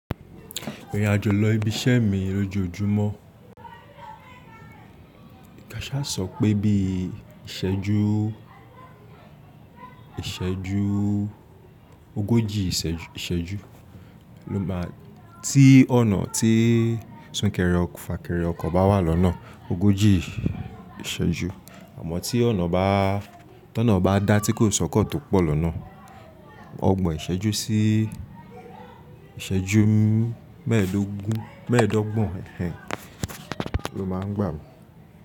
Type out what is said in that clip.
Irìn àjò lọ ibi iṣẹ́ mi lójoójúmọ́. Káṣá sọ pé, bí ìṣẹ́jú ogójì ìṣẹ́jú tí súnkẹrẹ fàkẹrẹ ọkọ̀ bá wà lọ́nà ogójì ìṣẹ́jú. Àmọ́ tí ọ̀nà bá dáa, tí kò sọ́kọ̀ tó pọ̀ lọ́nà, ọgbọ̀n ìṣẹ́jú sí ìṣẹ́jú mẹ́ẹ̀dọ́gbọ̀n ló máa ń gbà mí.